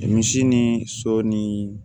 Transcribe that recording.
Misi ni so ni